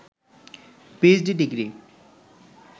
PhD degree